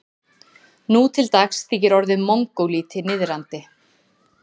Nú til dags þykir orðið mongólíti niðrandi.